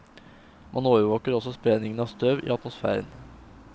Man overvåker også spredningen av støv i atmosfæren.